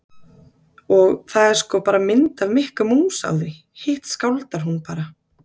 Og það er sko bara mynd af Mikka mús á því, hitt skáldar hún bara.